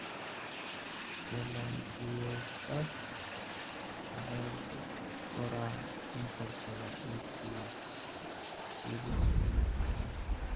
Telangiectasias waxay ku koraan inta badan wejiga, jirridda iyo gacmaha.